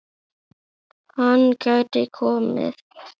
Hann gæti komið